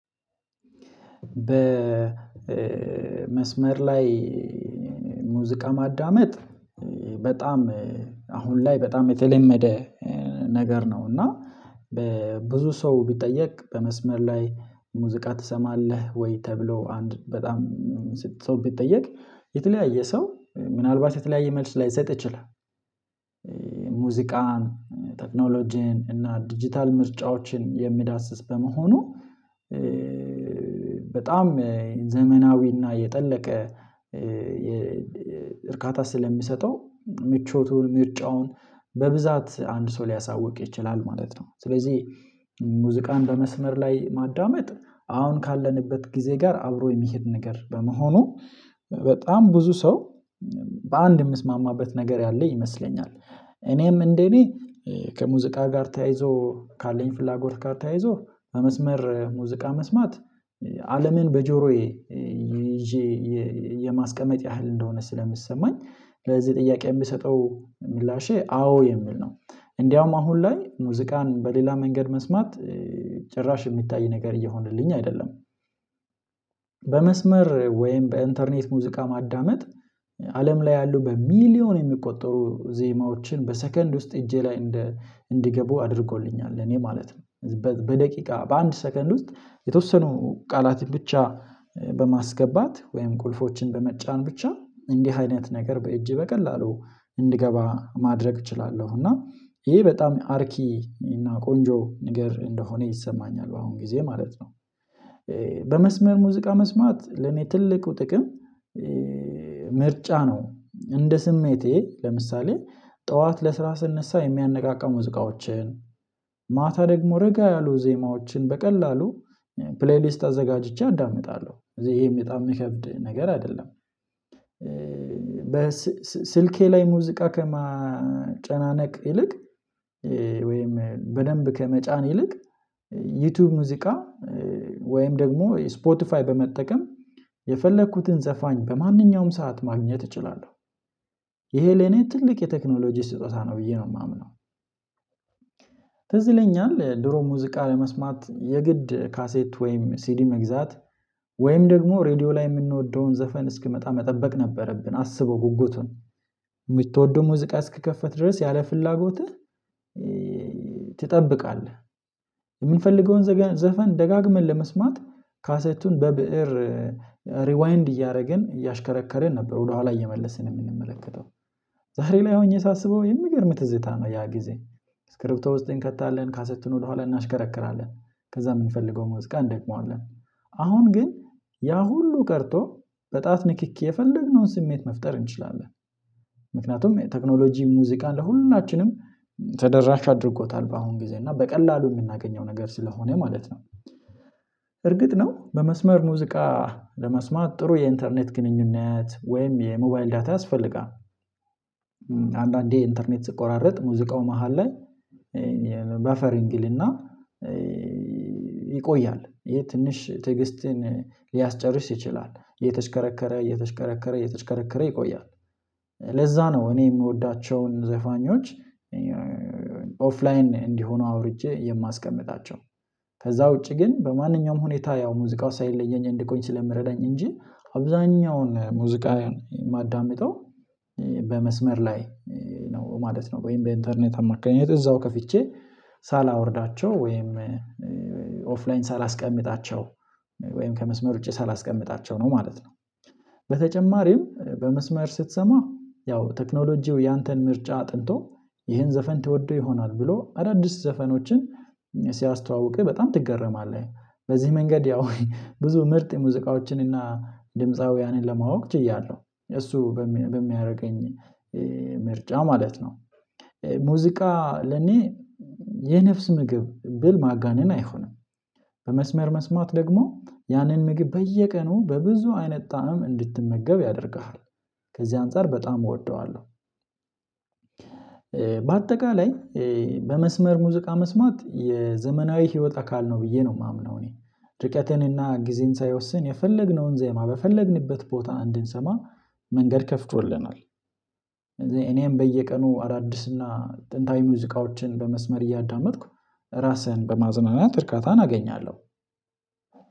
በመስመር ላይ ሙዚቃ ማዳመጥ በጣም አሁን ላይ በጣም የተለመደ ነገር ነው። እና በብዙ ሰው ቢጠየቅ በመስመር ላይ ሙዚቃ ትሰማለህ ወይ ተብሎ አንድ በጣም ስንት ሰው ቢጠየቅ የተለያየ ሰው ምናልባት የተለያየ መልስ ላይሰጥ ይችላል። ሙዚቃን ቴክኖሎጂን እና ዲጂታል ምርጫዎችን የሚዳስስ በመሆኑ በጣም ዘመናዊና የጠለቀ እርካታ ስለሚሰጠው ምቾቱን ምርጫውን በብዛት አንድ ሰው ሊያሳውቅ ይችላል ማለት ነው። ስለዚህ ሙዚቃን በመስመር ላይ ማዳመጥ አሁን ካለንበት ጊዜ ጋር አብሮ የሚሄድ ነገር በመሆኑ በጣም ብዙ ሰው በአንድ የምስማማበት ነገር ያለ ይመስለኛል። እኔም እንደኔ ከሙዚቃ ጋር ተያይዞ ካለኝ ፍላጎት ጋር ተያይዞ በመስመር ሙዚቃ መስማት አለምን በጆሮዬ ይዤ የማስቀመጥ ያህል እንደሆነ ስለምሰማኝ ለዚህ ጥያቄ የምሰጠው ምላሼ አዎ የሚል ነው። እንደውም አሁን ላይ ሙዚቃን በሌላ መንገድ መስማት ጭራሽ የሚታይ ነገር እየሆነልኝ አይደለም። በመስመር ወይም በኢንተርኔት ሙዚቃ ማዳመጥ አለም ላይ ያሉ በሚሊዮን የሚቆጠሩ ዜማዎችን በሰከንድ ውስጥ እጄ ላይ እንደ እንዲገቡ አድርጎልኛል እኔ ማለት ነው። በደቂቃ በአንድ ሰከንድ ውስጥ የተወሰኑ ቃላትን ብቻ በማስገባት ወይም ቁልፎችን በመጫን ብቻ እንዲህ አይነት ነገር በእጄ በቀላሉ እንድገባ ማድረግ እችላለሁ። እና ይሄ በጣም አርኪ እና ቆንጆ ነገር እንደሆነ ይሰማኛል አሁን ጊዜ ማለት ነው። በመስመር ሙዚቃ መስማት ለኔ ትልቁ ጥቅም ምርጫ ነው እንደ ስሜቴ ለምሳሌ ጥዋት ለስራ ስነሳ የሚያነቃቃው ሙዚቃዎችን ማታ ደግሞ ረጋ ያሉ ዜማዎችን በቀላሉ ፕሌይሊስት አዘጋጅቼ አዳምጣለው ይሄም በጣም የሚከብድ ነገር አይደለም። በስልኬ ላይ ሙዚቃ ከማጨናነቅ ይልቅ ወይም በደንብ ከመጫን ይልቅ ዩቲዩብ ሙዚቃ ወይም ደግሞ ስፖቲፋይ በመጠቀም የፈለኩትን ዘፋኝ በማንኛውም ሰዓት ማግኘት እችላለሁ። ይሄ ለኔ ትልቅ የቴክኖሎጂ ስጦታ ነው ብዬ ነው የማምነው። ትዝ ይለኛል ድሮ ሙዚቃ ለመስማት የግድ ካሴት ወይም ሲዲ መግዛት ወይም ደግሞ ሬድዮ ላይ የምንወደውን ዘፈን እስኪመጣ መጠበቅ ነበረብን አስበው ጉጉቱን የምትወደው ሙዚቃ እስኪከፈት ድረስ ያለ ፍላጎትህ ትጠብቃለህ። የምንፈልገውን ዘፈን ደጋግመን ለመስማት ካሴቱን በብእር ሪዋይንድ እያረግን እያሽከረከረን ነው ወደኋላ እየመለስን የምንመለከተው ዛሬ ላይ ሆኜ ሳስበው የምገርም ትዝታ ነው። ያ ጊዜ ስክሪፕቶ ውስጥ እንከታለን ካሰትን ወደኋላ እናሽከረክራለን ከዛ የምንፈልገው መዚቃ እንደግመዋለን አሁን ግን ያ ሁሉ ቀርቶ በጣት ንክኪ የፈለግነውን ስሜት መፍጠር እንችላለን። ምክንያቱም ቴክኖሎጂ ሙዚቃ ለሁሉናችንም ተደራሽ አድርጎታል በአሁን ጊዜ እና በቀላሉ የምናገኘው ነገር ስለሆነ ማለት ነው። እርግጥ ነው በመስመር ሙዚቃ ለመስማት ጥሩ የኢንተርኔት ግንኙነት ወይም የሞባይል ዳታ ያስፈልጋል። አንዳንዴ ኢንተርኔት ስቆራረጥ ሙዚቃው መሃል ላይ በፈረንግልና ይቆያል ይሄ ትንሽ ትዕግስትን ሊያስጨርስ ይችላል እየተሽከረከረ እየተሽከረከረ እየተሽከረከረ ይቆያል። ለዛ ነው እኔ የምወዳቸውን ዘፋኞች ኦፍላይን እንዲሆኑ አውርጄ የማስቀምጣቸው። ከዛ ውጪ ግን በማንኛውም ሁኔታ ያው ሙዚቃው ሳይለየኝ እንዲቆይ ስለምረዳኝ እንጂ አብዛኛውን ሙዚቃን ማዳመጠው በመስመር ላይ ነው ማለት ነው። ወይም የኢንተርኔት አማካኝነት እዛው ከፍቼ ሳላወርዳቸው ወይም ኦፍላይን ሳላስቀምጣቸው ወይም ከመስመር ውጪ ሳላስቀምጣቸው ነው ማለት ነው። በተጨማሪም በመስመር ስትሰማ ያው ቴክኖሎጂው ያንተን ምርጫ አጥንቶ ይህን ዘፈን ትወደው ይሆናል ብሎ አዳዲስ ዘፈኖችን ሲያስተዋውቅህ በጣም ትገረማለህ። በዚህ መንገድ ያው ብዙ ምርጥ የሙዚቃዎችን እና ድምፃውያንን ለማወቅ ችያለው እሱ በሚያረገኝ ምርጫ ማለት ነው። ሙዚቃ ለኔ የነፍስ ምግብ ብል ማጋነን አይሆንም። በመስመር መስማት ደግሞ ያንን ምግብ በየቀኑ በብዙ አይነት ጣዕም እንድትመገብ ያደርግሃል። ከዚህ አንፃር በጣም እወደዋለው። በአጠቃላይ በመስመር ሙዚቃ መስማት የዘመናዊ ህይወት አካል ነው ብዬ ነው የማምነው። እኔ ርቀትንና ጊዜን ሳይወስን የፈለግነውን ዜማ በፈለግንበት ቦታ እንድንሰማ መንገድ ከፍቶልናል። እኔም በየቀኑ አዳዲስና ጥንታዊ ሙዚቃዎችን በመስመር እያዳመጥኩ ራስህን በማዝናናት እርካታን አገኛለው።